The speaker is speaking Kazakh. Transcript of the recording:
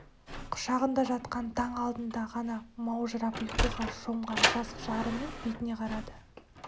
құшағында жатқан таң алдында ғана маужырап ұйқыға шомған жас жарының бетіне қарады